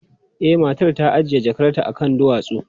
E, matar ta ajiye jakarta akan duwatsu.